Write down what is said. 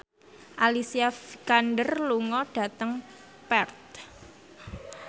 Alicia Vikander lunga dhateng Perth